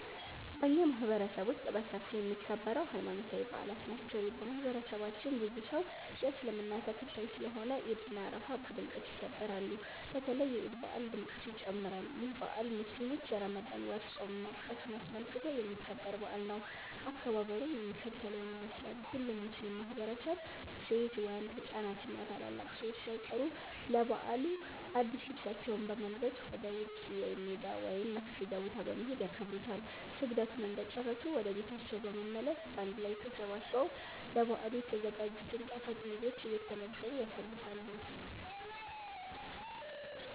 በኛ ማህበረሰብ ውስጥ በሰፊው የሚከበረው ሀይማኖታዊ በአላት ናቸው። በማህበረሰባችን ብዙ ሰው የእስልምና ተከታይ ስለሆነ ዒድ እና አረፋ በድምቀት ይከበራሉ። በተለይ የዒድ በአል ድምቀቱ ይጨምራል። ይህ በአል ሙስሊሞች የረመዳን ወር ፆም ማብቃቱን አስመልክቶ የሚከበር በአል ነው። አከባበሩም የሚከተለውን ይመስላል። ሁሉም ሙስሊም ማህበረሰብ ሴት፣ ወንድ፣ ህፃናት እና ታላላቅ ሰዎች ሳይቀሩ ለበዓሉ አድስ ልብሳቸውን በመልበስ ወደ ውጪ (ሜዳ) ወይም መስገጃ ቦታ በመሄድ ያከብሩታል። ስግደቱን እንደጨረሱ ወደ ቤታቸው በመመለስ በአንድ ላይ ተሰባስበው ለበዓሉ የተዘጋጅቱን ጣፋጭ ምግቦች እየተመገቡ ያሳልፋሉ።